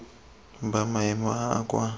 ba maemo a a kwa